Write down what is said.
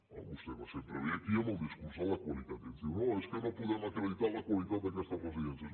vostè sempre ve aquí amb el discurs de la qualitat i ens diu no és que no podem acreditar la qualitat d’aquestes residències